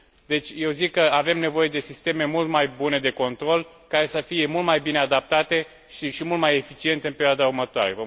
Deci, eu zic că avem nevoie de sisteme mult mai bune de control, care să fie mult mai bine adaptate și mult mai eficiente în perioada următoare.